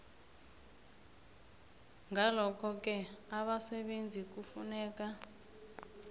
ngalokhoke abasebenzi kufuneka